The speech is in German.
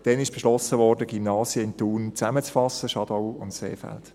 Damals wurde beschlossen, die Gymnasien in Thun zusammenzulegen, Schadau und Seefeld.